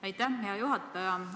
Aitäh, hea juhataja!